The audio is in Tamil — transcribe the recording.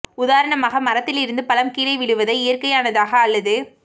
உதாரணமாக மரத்திலிருந்து பழம் கீழே விழுவதை இயற்கையானதாக அல்லது